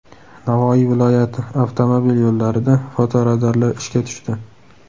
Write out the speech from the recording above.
Navoiy viloyati avtomobil yo‘llarida fotoradarlar ishga tushdi.